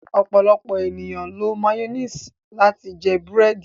Ọ̀pọ̀lọ̀pọ̀ ènìyàn ló mayonnaise láti jẹ bẹ̀rẹ̀dì.